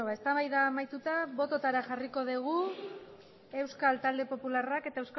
eztabaida amaituta bototara jarriko dugu euskal talde popularrak eta